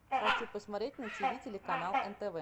хочу посмотреть на тиви телеканал нтв